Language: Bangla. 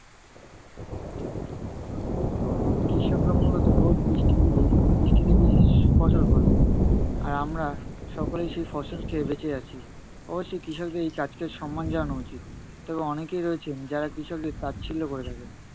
কৃষকরা মূলত রোদ বৃষ্টি পুড়ে, বৃষ্টিতে ভিজে, ফসল ফলায়। আর আমার সকলেই সেই ফসল খেয়ে বেঁচে আছি। অবশ্যই কৃষকদের এই কাজকে সম্মান জানানো উচিত। তবে অনেকেই রয়েছেন যারা কৃষকদের তাচ্ছিল্য করে থাকেন।